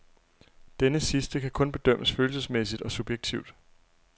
Denne sidste kan kun bedømmes følelsesmæssigt og subjektivt.